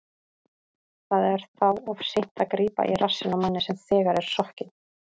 Það er þá of seint að grípa í rassinn á manni sem þegar er sokkinn.